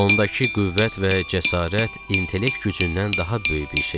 Ondakı qüvvət və cəsarət intellekt gücündən daha böyük bir şey idi.